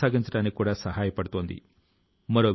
అప్పుడే స్థానిక శక్తి ని గుర్తిస్తాం